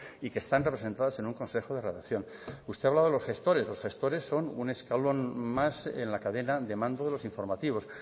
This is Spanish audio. y que están representadas en un consejo de redacción usted hablaba de los gestores los gestores son un escalón más en la cadena de mando de los in formativos